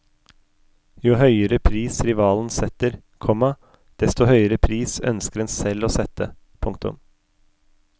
Jo høyere pris rivalen setter, komma desto høyere pris ønsker en selv å sette. punktum